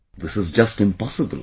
This is just impossible